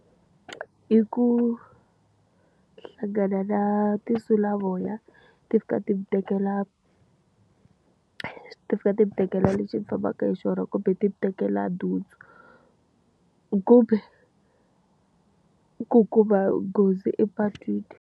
I ku hlangana na tinsulavoya, ti fika ti mi tekela, ti fika ti mi tekela lexi mi fambaka hi xona kumbe ti mi tekela nhundzu. Kumbe, ku kuma nghozi epatwini.